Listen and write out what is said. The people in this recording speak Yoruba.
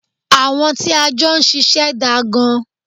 Àwọn tí a jọ ṣiṣẹ́ daa gan.